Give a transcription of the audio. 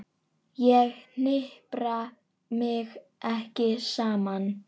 Ég hnipra mig ekki saman.